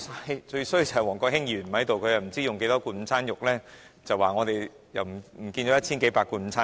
可惜王國興議員不在，否則他又會說我們浪費了一千數百罐午餐肉。